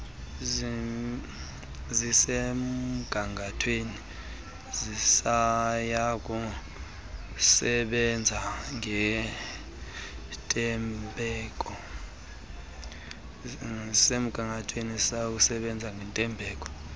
zisemgangathweni siyakusebenza ngentembeko